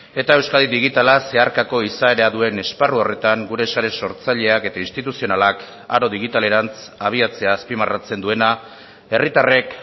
eta euskadi digitala zeharkako izaera duen esparru horretan gure sare sortzaileak eta instituzionalak aro digitalerantz abiatzea azpimarratzen duena herritarrek